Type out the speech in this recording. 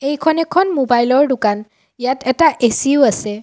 এইখন এখন মোবাইলৰ দোকান ইয়াত এটা এ_চি ও আছে।